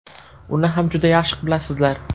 Uni ham juda yaxshi bilasizlar.